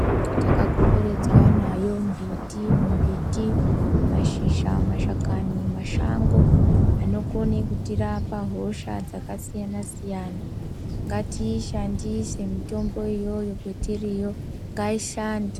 Takakomberedzwa nayo mbiti mimbiti mashakani. Mashango anokona kutirapa hosha dzakasiyana siyana. Ngatiyii shandise mitombo iyoyo kwatiriyo ngaishande.